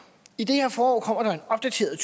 i det her forår kommer der en opdateret